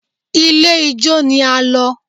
Ilé ijó ni a lọ